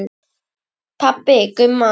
Pabbi Gumma!